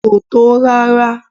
Kò tó rárá.